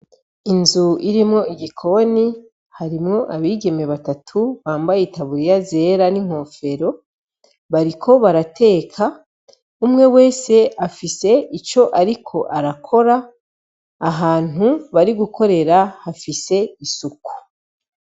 Inzu irimwo igikoni harimwo abigeme batatu, bambaye itaburiya zera ,n'inkofero bariko barateka, umwe wese afise ico ariko arakora ahantu bari gukorera hafise isuku.